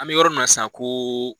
An bi yɔrɔ m na san ko